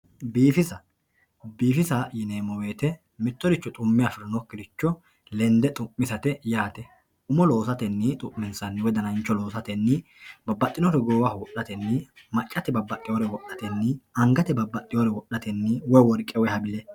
Biifissa, biifissa yi'neemo woyite mitoricho xu'me afinokiricho lende xu'misate yaate umo loosatenni xu'minsanni woyi danancho loosatenni babaxinore goowaho wofhatenni maccate babaxeewore wodhatenni angate babaxeewore wodhatenni woyi woriqe woyi habile